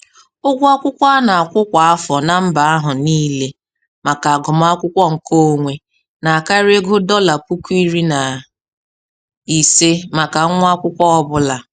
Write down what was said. Ụgwọ akwụkwọ ana akwụ kwa afọ na mba ahụ niile maka agụmakwụkwọ nkeonwe na-akarị ego dọla puku iri na ise maka nwa akwụkwọ ọ bụla.